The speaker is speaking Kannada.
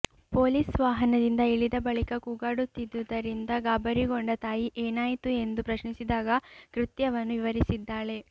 ಪೊಲೀಸ್ ವಾಹನದಿಂದ ಇಳಿದ ಬಳಿಕ ಕೂಗಾಡುತ್ತಿದ್ದುದ್ದರಿಂದ ಗಾಬರಿಗೊಂಡ ತಾಯಿ ಏನಾಯಿತು ಎಂದು ಪ್ರಶ್ನಿಸಿದಾಗ ಕೃತ್ಯವನ್ನು ವಿವರಿಸಿದ್ದಾಳೆ